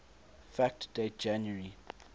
fact date january